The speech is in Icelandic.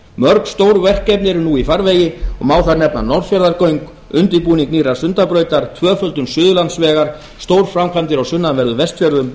mörg stór verkefni eru nú í farvegi og má þar nefna norðfjarðargöng undirbúning nýrrar sundabrautar tvöföldun suðurlandsvegar stórframkvæmdir á sunnanverðum vestfjörðum